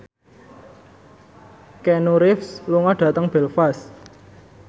Keanu Reeves lunga dhateng Belfast